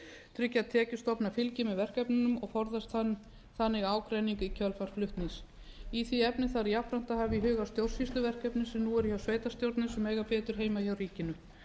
tryggja að tekjustofnar fylgi með verkefnunum og forðast þannig ágreining í kjölfar flutnings í því efni þarf jafnframt að hafa í huga stjórnsýsluverkefni sem nú eru hjá sveitarstjórnum en eiga betur heima hjá ríkinu